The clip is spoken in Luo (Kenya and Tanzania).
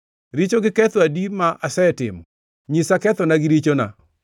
Richo gi ketho adi ma asetimo? Nyisa kethona gi richona.